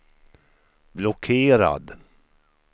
blockerad